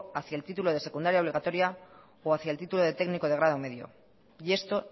hacia el título de secundaria obligatoria o hacia el título de técnico de grado medio y esto